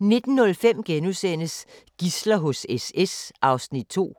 19:05: Gidsler hos SS (2:2)*